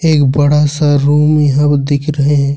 एक बड़ा सा रूम यहां दिख रहे हैं।